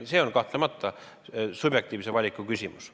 See on kahtlemata subjektiivse valiku küsimus.